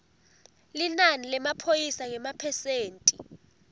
linani lemaphoyisa ngemaphesenti